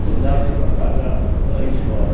Não dava nem para pagar a escola.